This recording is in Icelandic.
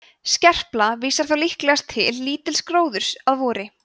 skerpla vísar þá líklegast til lítils gróðurs að vori